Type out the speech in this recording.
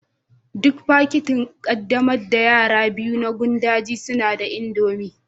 Duk fakitin ƙaddamar da yara biyu na gandun daji suna da indomie